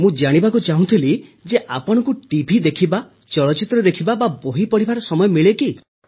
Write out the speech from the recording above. ମୁଁ ଜାଣିବାକୁ ଚାହୁଁଥିଲି ଯେ ଆପଣଙ୍କୁ ଟିଭି ଦେଖିବା ଚଳଚ୍ଚିତ୍ର ଦେଖିବା ବା ବହି ପଢ଼ିବାର ସମୟ ମିଳେ କି